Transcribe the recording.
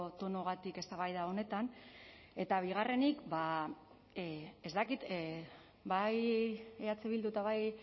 tonuagatik eztabaida honetan eta bigarrenik ez dakit bai eh bildu eta bai